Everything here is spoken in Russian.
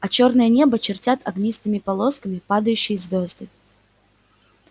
а чёрное небо чертят огнистыми полосками падающие звёзды